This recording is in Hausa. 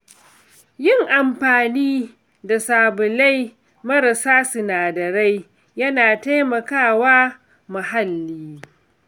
Yin amfani da sabulai marasa sinadarai yana taimaka wa muhalli.